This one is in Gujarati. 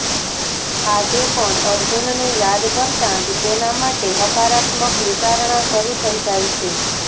આજે પણ અર્જુનને યાદ કરતાં જ તેના માટે હકારાત્મક વિચારણા શરૂ થઇ જાય છે